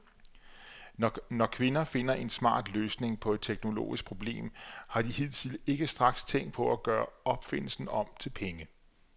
Når kvinder finder en smart løsning på et teknologisk problem, har de hidtil ikke straks tænkt på at gøre opfindelsen om til penge.